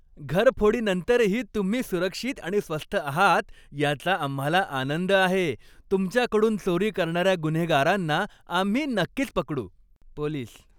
घरफोडीनंतरही तुम्ही सुरक्षित आणि स्वस्थ आहात याचा आम्हाला आनंद आहे. तुमच्याकडून चोरी करणाऱ्या गुन्हेगारांना आम्ही नक्कीच पकडू. पोलीस